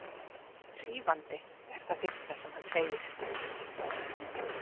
Hrífandi, er það fyrsta sem hann segir.